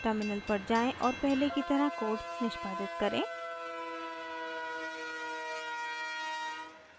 terminal पर जाएँ और पहले की तरह कोड निष्पादित करें